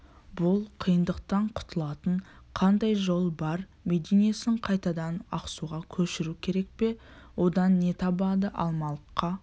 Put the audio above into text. бұл қиындықтан құтылатын қандай жол бар мединесін қайтадан ақсуға көшіру керек пе одан не табады алмалыққа